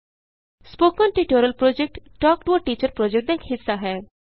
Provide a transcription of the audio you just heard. spoken tutorial project talk to a teacher project ਦਾ ਇਕ ਹਿੱਸਾ ਹੈ